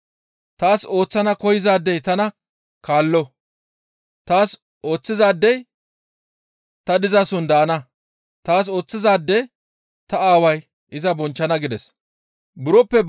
Taas ooththana koyzaadey tana kaallo; Taas ooththizaadey ta dizason daana; taas ooththizaade ta Aaway iza bonchchana» gides.